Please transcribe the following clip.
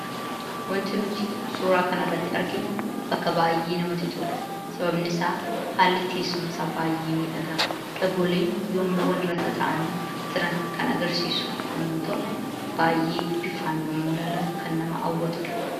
Wanti nuti suuraa kanarratti arginu bakka baay'ee namatti tolu sababni isaas haalli teessuma isaa baay'ee miidhagaa dhagooleen yemmuu walirra tattaa'anii jiran kan agarsiisu yoo ta'u, bifaan yeroo ilaalan baay'ee kan nama hawwatudha.